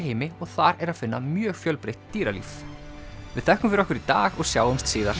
heimi og þar er að finna mjög fjölbreytt dýralíf við þökkum fyrir okkur í dag og sjáumst síðar